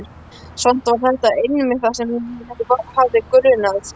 Samt var þetta einmitt það sem mig hafði grunað.